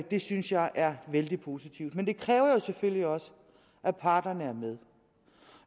det synes jeg er vældig positivt men det kræver jo selvfølgelig også at parterne er med